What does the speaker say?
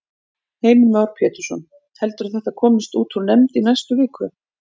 Heimir Már Pétursson: Heldurðu að þetta komist út úr nefnd í næstu viku?